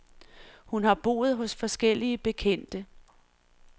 Hun har boet hos forskellige bekendte.